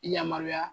Yamaruya